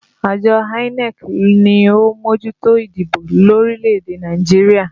Àjọ INEC ni ó ń mójútó ìdìbò lórílẹ̀ èdè Nàìjíríà